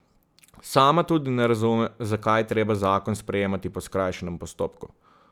Sama tudi ne razume, zakaj je treba zakon sprejemati po skrajšanem postopku.